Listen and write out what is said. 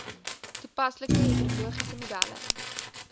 toepaslike hidrologiese modelle